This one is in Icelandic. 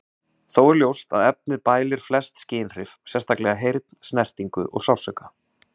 Þó er ljóst að efnið bælir flest skynhrif, sérstaklega heyrn, snertingu og sársauka.